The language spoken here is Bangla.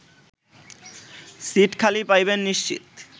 সিট খালি পাইবেন নিশ্চিত